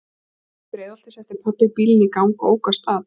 Uppí Breiðholti setti pabbi bílinn í gang og ók af stað.